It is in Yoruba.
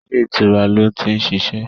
Ilé ìtura lo ti ń ṣiṣẹ́